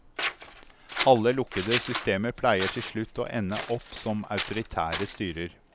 Alle lukkede systemer pleier til slutt å ende opp som autoritære styrer.